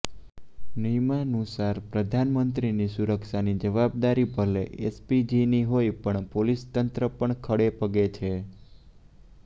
નિયમાનુસાર પ્રધાનમંત્રીની સુરક્ષાની જવાબદારી ભલે એસપીજીની હોય પણ પોલીસતંત્ર પણ ખડે પગે છે